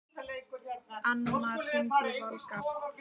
Annmar, hringdu í Valgarð.